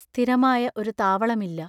സ്ഥിരമായ ഒരു താവളമില്ല.